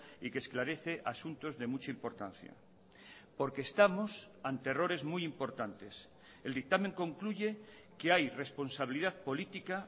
y que esclarece asuntos de mucha importancia porque estamos ante errores muy importantes el dictamen concluye que hay responsabilidad política